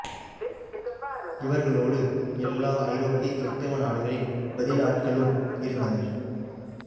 இவர்களோடு எல்லா ஐரோப்பிய கிறித்தவ நாடுகளின் பதில் ஆட்களும் இருந்தனர்